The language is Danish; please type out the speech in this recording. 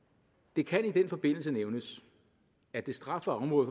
det kan i den forbindelse nævnes at det strafbare område